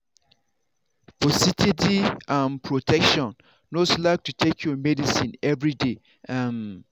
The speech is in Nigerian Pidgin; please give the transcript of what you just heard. for steady um protection no slack to take your medicine everyday. um